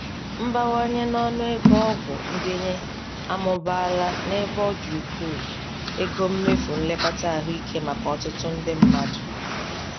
Mbawanye n'ọnụ ego ọgwụ ndenye amụbaala n'ebe ọ dị ukwuu ego mmefụ nlekọta ahụike maka ọtụtụ ndị mmadụ.